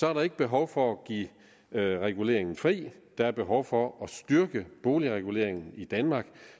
er der ikke behov for at give reguleringen fri der er behov for at styrke boligreguleringen i danmark